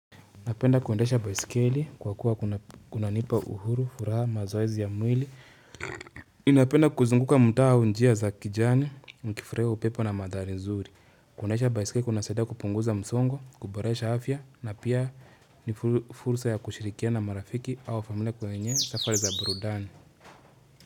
Napenda kuendesha baisikeli kwa kuwa kunanipa uhuru, furaha, mazoezi ya mwili. Inapenda kuzunguka mutaa au njia za kijani, nikifurahia upepo na madhari nzuri. Kuendaesha baisikeli kunasaidia kupunguza msongo, kuboresha afya na pia ni fursa ya kushirikiana marafiki au familia kwenye safari za burudani.